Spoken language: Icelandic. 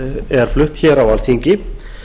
er flutt á alþingi